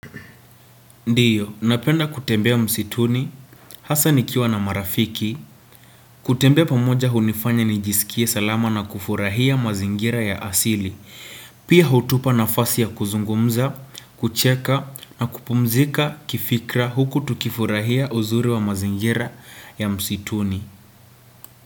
Ndiyo, napenda kutembea msituni, hasa nikiwa na marafiki, kutembea pamoja hunifanya nijisikie salama na kufurahia mazingira ya asili, pia hutupa nafasi ya kuzungumza, kucheka na kupumzika kifikra huku tukifurahia uzuri wa mazingira ya msituni.